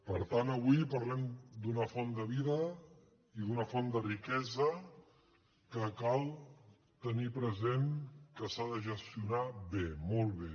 per tant avui parlem d’una font de vida i d’una font de riquesa que cal tenir present que s’ha de gestionar bé molt bé